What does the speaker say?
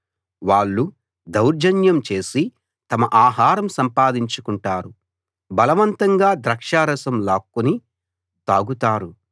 వాళ్ళు దౌర్జన్యం చేసి తమ ఆహారం సంపాదించుకుంటారు బలవంతంగా ద్రాక్షారసం లాక్కుని తాగుతారు